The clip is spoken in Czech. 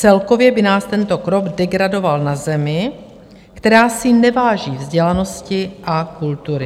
Celkově by nás tento krok degradoval na zemi, která si neváží vzdělanosti a kultury.